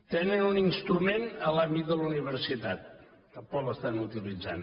tenen un instrument en l’àmbit de la universitat tampoc l’estan utilitzant